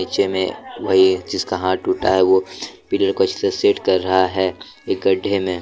में वही जिसका हाथ टूटा है वो पिलर अच्छी तरह सेट कर रहा है एक गड्ढे में।